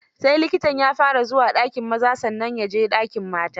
Sai likitan ya fara zuwa dakin maza, sannan ya je dakin mata.